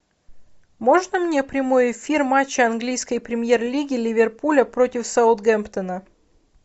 можно мне прямой эфир матча английской премьер лиги ливерпуля против саундгемптона